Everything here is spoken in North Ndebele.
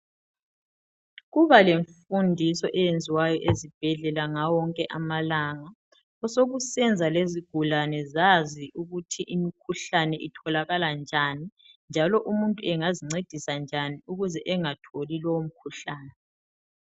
Kubalemfundiso eyenziwayo ezibhedlela ngawo wonke amalanga osokusenza lezigulane zazi ukuthi ukuthi imikhuhlane itholakala njani njalo umuntu engazincedisa njani ukuze engatholi lowomkhuhlane.